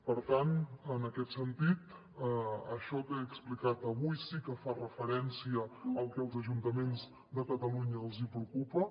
per tant en aquest sentit això que he explicat avui sí que fa referència al que als ajuntaments de catalunya els hi preocupa